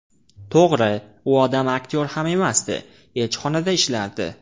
To‘g‘ri, u odam aktyor ham emasdi, elchixonada ishlardi.